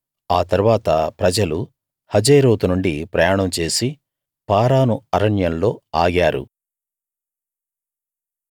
ఆ తరువాత ప్రజలు హజేరోతు నుండి ప్రయాణం చేసి పారాను అరణ్యంలో ఆగారు